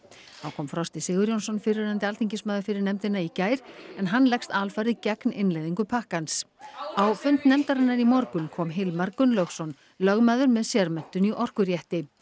þá kom Frosti Sigurjónsson fyrrverandi alþingismaður fyrir nefndina í gær en hann leggst alfarið gegn innleiðingu pakkans á fund nefndarinnar í morgun kom Hilmar Gunnlaugsson lögmaður með sérmenntun í orkurétti